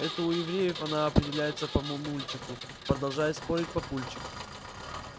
это у евреев она определяется по мамульчику продолжает спорить папульчик